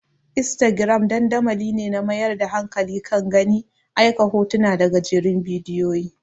Instagram dandamali ne mai mayar da hankali kan gani, aika hotuna da gajerun bidiyoyi.